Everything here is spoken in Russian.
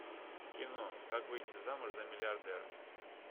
кино как выйти замуж за миллиардера